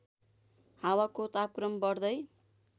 हावाको तापक्रम बढ्दै